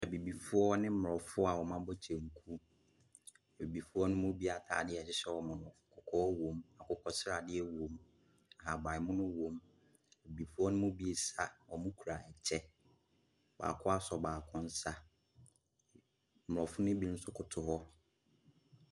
Abibifoɔ ne aborɔfoɔ wɔabɔ kyɛnku, abibifoɔ ne mu bi ataadeɛ a ɛhyehyɛ wɔn no kɔkɔɔ wɔm, akokɔsradeɛ wɔm, ahabanmono wɔm. abibifoɔ ne bi ɛresa, wɔkura kyɛ, baako asɔ baako nsa. Aborɔfo ne bi nso kotoo hɔ.